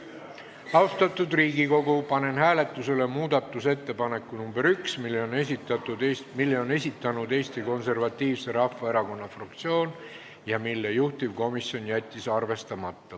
Austatud Riigikogu, panen hääletusele muudatusettepaneku nr 1, mille on esitanud Eesti Konservatiivse Rahvaerakonna fraktsioon ja mille juhtivkomisjon jättis arvestamata.